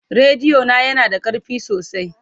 Rediyo na yana da ƙarfi sosai.